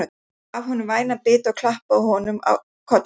Hún gaf honum vænan bita og klappaði honum á kollinn.